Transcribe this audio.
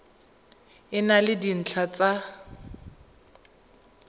e na le dintlha tsa